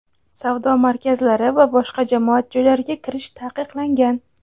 savdo markazlari va boshqa jamoat joylariga kirish taqiqlangan.